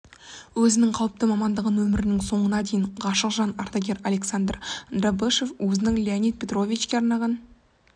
өзінің қауіпті мамандығына өмірінің соңына дейін ғашық жан ардагер александр дробышев өзінің леонид петровичке арнаған